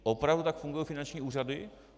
Opravdu tak fungují finanční úřady?